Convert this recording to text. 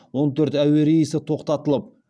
он төрт әуе рейсі тоқтатылып